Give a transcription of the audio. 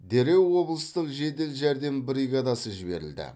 дереу облыстық жедел жәрдем бригадасы жіберілді